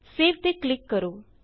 save ਤੇ click ਕਰੋ